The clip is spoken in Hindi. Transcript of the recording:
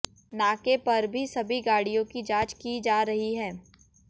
नाके पर भी सभी गाड़ियों की जांच की जा रही है